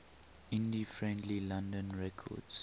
indie friendly london records